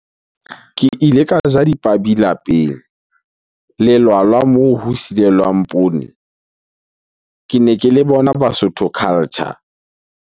Ke ile ka ja dipabi lapeng. Lelwala moo ho silelwang poone kene ke le bona Basotho culture.